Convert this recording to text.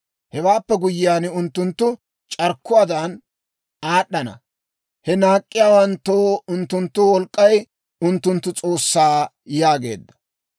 Hewaappe guyyiyaan, unttunttu c'arkkuwaadan aad'ana. He naak'k'iyaawanttoo unttunttu wolk'k'ay unttunttu s'oossaa» yaageedda.